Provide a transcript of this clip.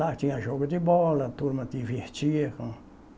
Lá tinha jogo de bola, a turma divertia com